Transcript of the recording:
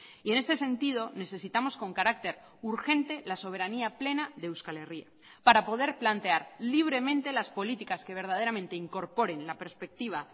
y en este sentido necesitamos con carácter urgente la soberanía plena de euskal herria para poder plantear libremente las políticas que verdaderamente incorporen la perspectiva